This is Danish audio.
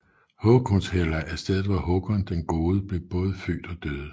Håkonshella er stedet hvor Håkon den gode både blev født og døde